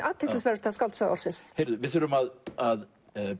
athyglisverðasta skáldsaga ársins við þurfum að að